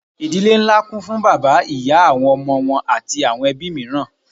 Ìdílé ńlá kún fún bàbá, ìyá, àwọn ọmọ wọn àti àwọn ẹbí mìíràn.